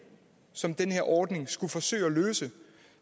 som den her ordning skulle forsøge at løse